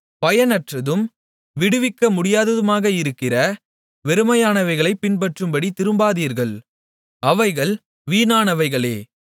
பயனற்றதும் விடுவிக்கமுடியாததுமாக இருக்கிற வெறுமையானவைகளைப் பின்பற்றும்படி திரும்பாதீர்கள் அவைகள் வீணானவைகளே